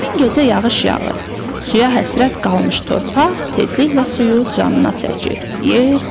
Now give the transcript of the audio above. Həmin gecə yağış yağır, suya həsrət qalmış torpaq tezliklə suyu canına çəkir, yer quruyur.